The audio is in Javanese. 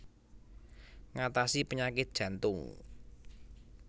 Ngatasi penyakit jantung